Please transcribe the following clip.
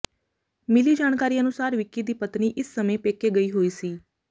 ਮਿਲੀ ਜਾਣਕਾਰੀ ਅਨੁਸਾਰ ਵਿੱਕੀ ਦੀ ਪਤਨੀ ਇਸ ਸਮੇਂ ਪੇਕੇ ਗਈ ਹੋਈ ਸੀ